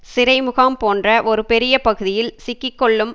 சிறை முகாம் போன்ற ஒரு பெரிய பகுதியில் சிக்கிக்கொள்ளும்